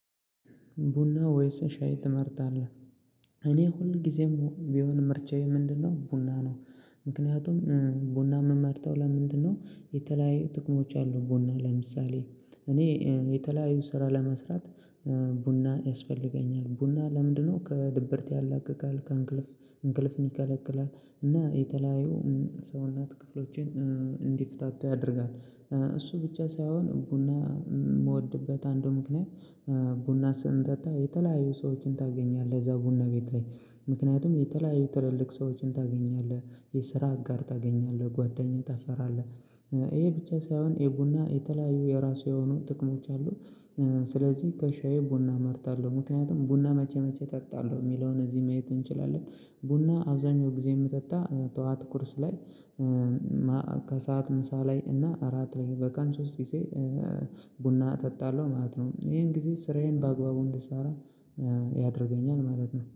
ቡና ወይስ ሻይ ትመርጣለህ? እኔ ሁል ጊዜም ቢሆን ምርጫየ ምንድነው ቡና ነው። ምክንያቱም ቡና የምመርጠው ለምንድነው? የተለያዩ ጥቅሞች አሉ። ቡና ለምሳሌ እኔ የተለያዩ ስራ ለመስራት ቡና ያስፈልገኛል። ቡና ለምንድነው ከድብርት ያላቅቃል ከእንቅልፍ እንቅልፍን ይከለቅላል። እና የተለያዩ ሰውነት ክፍሎችን እንዲፈታቱ ያደርጋል። እሱ ብቻ ሳይሆን ቡና የምወድበት አንዱ ምክንያት። ቡና ስንጠጣ የተለያዩ ሰዎችን ታገኛለህ እዛ ቡና ቤት ላይ ምክንያቱም የተለያዩ ትልልቅ ሰዎችን ታገኛለህ። የስራ አጋር ታገኛለህ ጓደኛ ታፈራለህ ይሄ ብቻ ሳይሆን የቡና የተለያዩ የራሱ የሆኑ ጥቅሞች አሉ። ስለዚህ ከሻዬ ቡና እመርጣለሁ። ምክንያቱም ቡና መቼ መቼ እጠጣለሁ የሚለውን እዚህ ማየት እንችላለን። ቡና አብዛኛው ጊዜ የምጠጣ ጠዋት ቁርስ ላይ። ከሰአት ምሳ ላይ እና አራት ላይ በቀን ሶስት ጊዜ። ቡና እጠጣለሁ ማለት ነው። ይሄን ጊዜ ስራዬን በአግባቡ እንድሰራ ያደርገኛል ማለት ነው